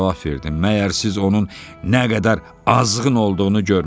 Məyər siz onun nə qədər azğın olduğunu görmürsüz?